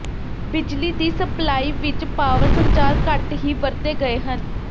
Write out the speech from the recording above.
ਬਿਜਲੀ ਦੀ ਸਪਲਾਈ ਵਿਚ ਪਾਵਰ ਸੰਚਾਰ ਘੱਟ ਹੀ ਵਰਤੇ ਗਏ ਹਨ